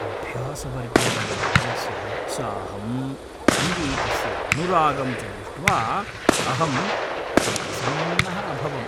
अभ्यासवर्गे मम बालस्य उत्साहं, सङ्गीतस्य अनुरागं च दृष्ट्वा अहं अतिप्रसन्नः अभवम्।